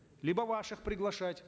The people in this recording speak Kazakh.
либо ваших приглашать